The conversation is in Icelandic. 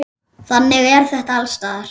Þannig er þetta alls staðar.